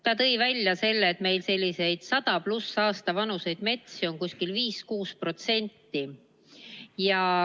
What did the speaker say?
Ta tõi välja, et meil selliseid 100+ aasta vanuseid metsi on 5–6%.